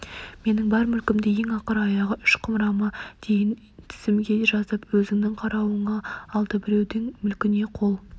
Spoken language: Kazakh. менің бар мүлкімді ең ақыр аяғы үш құмырама дейін тізімге жазып өзінің қарауына алды біреудің мүлкіне қол